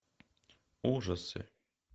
ужасы